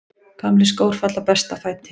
Gamlir skór falla best að fæti.